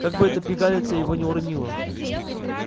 как бы эта пигалица его не уронила